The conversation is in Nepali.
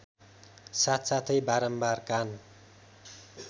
साथसाथै बारम्बार कान